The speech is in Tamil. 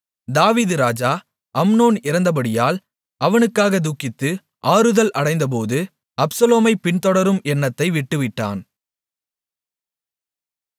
தாவீது ராஜா அம்னோன் இறந்தபடியால் அவனுக்காகத் துக்கித்து ஆறுதல் அடைந்தபோது அப்சலோமைப் பின்தொடரும் எண்ணத்தை விட்டுவிட்டான்